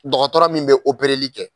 Dɔgɔtɔrɔ min bɛ kɛ.